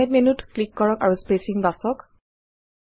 ফৰমাত মেন্যুত ক্লিক কৰক আৰু স্পেচিং বাচক